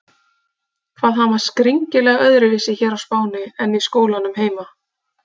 Hvað hann var skringilega öðruvísi hér á Spáni en í skólanum heima!